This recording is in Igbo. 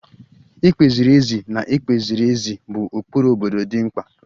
Ikpe ziri ezi na ikpe ziri ezi bụ ụkpụrụ obodo dị mkpa